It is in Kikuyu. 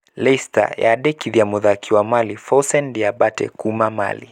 Leicester yandĩkithia mũthaki wa Mali Fousseni Diabate kuuma Mali